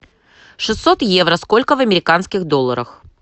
шестьсот евро сколько в американских долларах